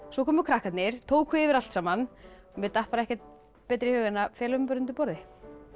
svo komu krakkarnir tóku yfir allt saman mér datt bara ekkert betra í hug en að fela mig undir borði